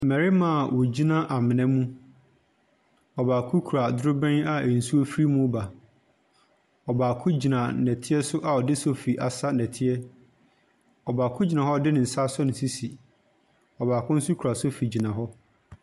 Mmarima a wɔgyina amona mu, ɔbaako kura drobɛn a nsuo firi mu reba, ɔbaako gyina nnɛteɛ so a ɔde sɔfi asa nnɛteɛ. Ɔbaako gyina hɔ a ɔde ne nsa asɔ ne sisi, ɔbaako nso kura sɔfi gyina hɔ.